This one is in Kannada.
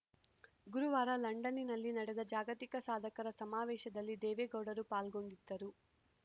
ಗುರುವಾರ ಲಂಡನ್ನಿನಲ್ಲಿ ನಡೆದ ಜಾಗತಿಕ ಸಾಧಕರ ಸಮಾವೇಶದಲ್ಲಿ ದೇವೇಗೌಡರು ಪಾಲ್ಗೊಂಡಿದ್ದರು